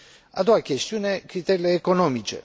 A doua chestiune criteriile economice.